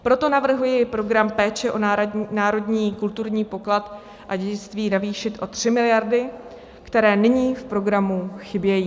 Proto navrhuji Program péče o národní kulturní poklad a dědictví navýšit o 3 miliardy, které nyní v programu chybějí.